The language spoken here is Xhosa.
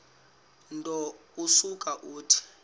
nto usuke uthi